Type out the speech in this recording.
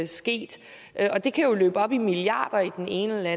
sket og det kan jo løbe op i milliarder i den ene eller